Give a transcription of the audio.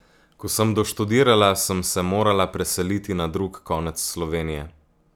Ko sem doštudirala, sem se morala preseliti na drug konec Slovenije.